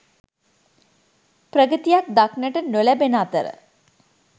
ප්‍රගතියක් දක්නට නොලැබෙන අතර